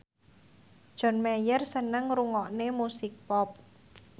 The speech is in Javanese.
John Mayer seneng ngrungokne musik pop